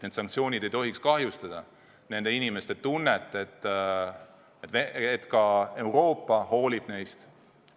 Need sanktsioonid ei tohiks kahjustada nende inimeste tunnet, et Euroopa hoolib neist.